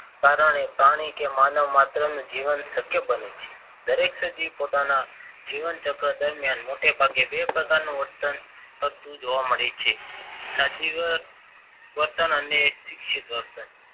કારણે પ્રાણી કે માનવ માત્ર અને જીવન શક્ય બને છે. દરેક સજીવ પોતાના જીવન ચક્ર દરમિયાન મોટેભાગે બે પ્રકારનું વર્તન કરતું જોવા મળે છે. સજીવ વર્તન અને શિક્ષિત વર્તન